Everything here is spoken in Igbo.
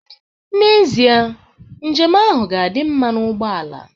N'ezie, njem ahụ ga-adị mma na ugbo ala